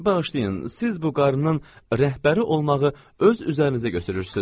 Bağışlayın, siz bu qarnının rəhbəri olmağı öz üzərinizə götürürsüz.